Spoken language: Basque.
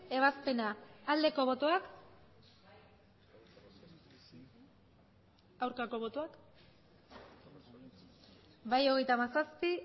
ebazpena aldeko botoak aurkako botoak bai hogeita hamazazpi